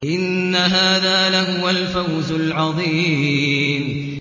إِنَّ هَٰذَا لَهُوَ الْفَوْزُ الْعَظِيمُ